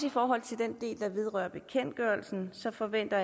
i forhold til den del der vedrører bekendtgørelsen forventer